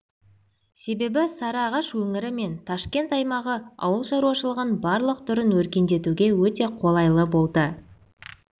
себебі сарыағаш өңірі мен ташкент аймағы ауыл шаруашылығын барлық түрін өркендетуге өте қолайлы болды